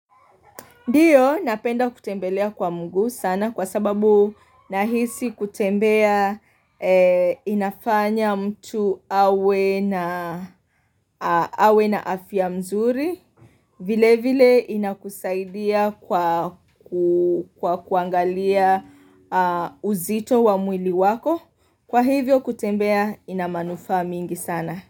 Ndio napenda kutembelea kwa mguu sana kwa sababu nahisi kutembea inafanya mtu awe na afya mzuri. Vile vile inakusaidia kwa kuangalia uzito wa mwili wako. Kwa hivyo kutembea inamanufa mingi sana.